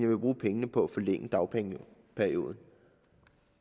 vil bruge pengene på at forlænge dagpengeperioden